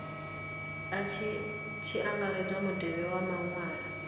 tshi angaredzwa mutevhe wa maṅwalwa